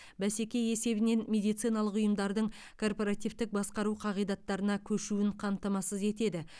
бәсеке есебінен медициналық ұйымдардың корпоративтік басқару қағидаттарына көшуін қамтамасыз етеді